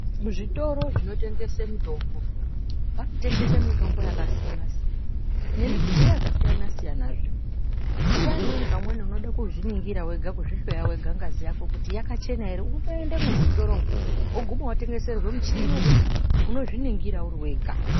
Muzvitoro zvinotengese mitombo, vanotengese mitombo yakasiyana-siyana, nemidziyo yakasiyana-siyana zve. Nguwa imweni pamweni unode kuzviningira wega, kuzvihloya wega ngazi yako kuti yakachena ere, unotoendemwo muchitoromwo, woguma wotengeserwa michhini wekuti unozviningira uri wega.